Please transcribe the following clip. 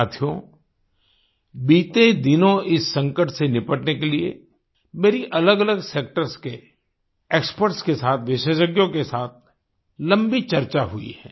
साथियो बीते दिनों इस संकट से निपटने के लिए मेरी अलगअलग सेक्टर्स के एक्सपर्ट के साथ विशेषज्ञों के साथ लम्बी चर्चा हुई है